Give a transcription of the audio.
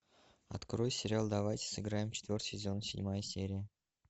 открой сериал давайте сыграем четвертый сезон седьмая серия